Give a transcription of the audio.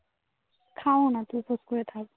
খাও না. খেয়ে চুপ করে থাক